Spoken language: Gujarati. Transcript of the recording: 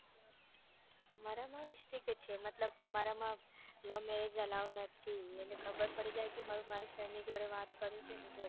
મારામાં strick છે મતલબ અમારામાં love merrage અલાઉ નથી એને ખબર પડી જાય કે મારા strick ની જોડે વાત તો એની જોડે